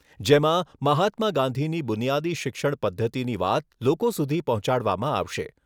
જેમાં મહાત્મા ગાંધીની બુનિયાદી શિક્ષણ પદ્ધતિની વાત લોકો સુધી પહોંચાડવામાં આવશે.